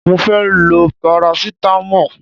Mo fẹ́ lo parasitamọ́ọ̀.